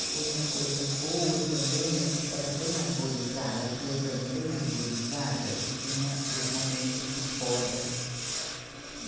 E outra coisa boa também é porque era bem arborizada, as ruas eram bem arborizadas e tinha os momentos de poda.